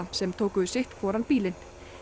sem tóku sitt hvorn bílinn